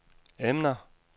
emner